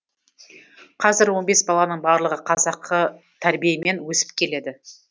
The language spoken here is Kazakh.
қазір он бес баланың барлығы қазақы тәрбиемен өсіп келеді